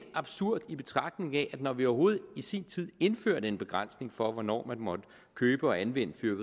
absurd i betragtning af at når vi overhovedet i sin tid indførte en begrænsning for hvornår man måtte købe og anvende